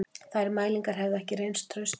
Þær mælingar hefðu ekki reynst traustar